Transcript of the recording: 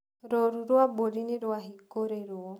Rũru rũa mbũri nĩrwahingũrĩrũo.